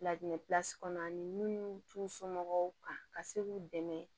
Ladilan ani munnu t'u somɔgɔw kan ka se k'u dɛmɛ